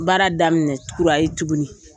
Baara daminɛ kura ye tuguni.